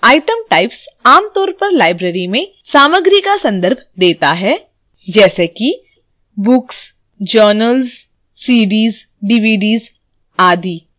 item types आमतौर पर library में सामग्री का संदर्भ देता है जैसे कि